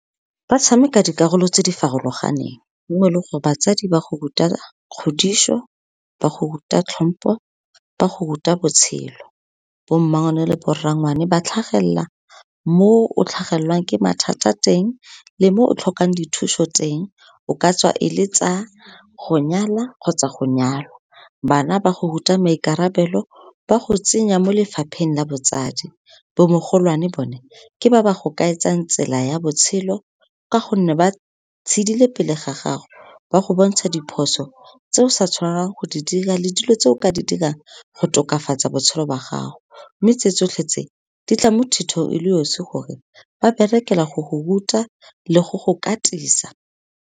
Ba tshameka dikarolo tse di farologaneng, mo leng gore, batsadi ba go ruta kgodiso, ba go ruta tlhompo, ba go ruta botshelo. Bommangwane le borrangwane, ba tlhagelela mo o tlhagelelwang ke mathata teng le mo o tlhokang dithuso teng, o ka tswa e le tsa go nyala kgotsa go nyalwa. Bana ba go ruta maikarabelo, ba go tsenya mo lefapheng la botsadi, bo mogolwane bone, ke ba ba go kaetsang tsela ya botshelo, ka gonne ba tshidile pele ga gago, ba go bontsha diphoso tse o sa tshwanang go di dira, le dilo tse o ka di dirang go tokafatsa botshelo ba gago. Mme tse tsotlhe tse, di tla mo thutong e le osi gore, ba berekela go go ruta le go go katisa.